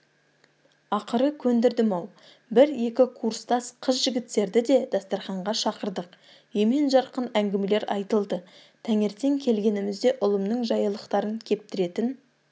ақыры көндірдім-ау бір-екі курстас қыз-жігіттерді де дастарханға шақырдық емен-жарқын әңгімелер айтылды таңертең келгенімізде ұлымның жаялықтарын кептіретін